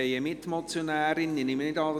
Ich nehme nicht an, dass sie sprechen will.